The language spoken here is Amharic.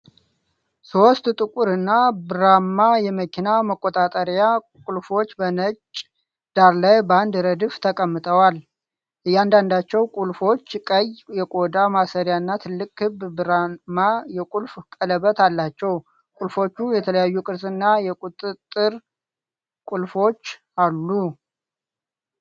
ሦስት ጥቁርና ብርማ የመኪና መቆጣጠሪያ ቁልፎች በነጭ ዳራ ላይ በአንድ ረድፍ ተቀምጠዋል። እያንዳንዳቸው ቁልፎች ቀይ የቆዳ ማሰሪያ እና ትልቅ ክብ ብርማ የቁልፍ ቀለበት አላቸው። ቁልፎቹ የተለያየ ቅርጽና የቁጥጥር ቁልፎች አሉ።